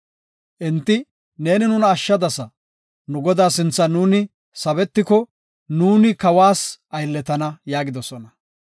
Enti, “Neeni nuna ashshadasa. Nu godaa sinthan nuuni sabetiko, nuuni kawas aylletana” yaagidosona.